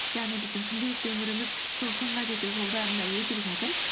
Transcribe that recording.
яғни біздің күнделікті өміріміз сол шыңға жету жолдарында өтіп жатыр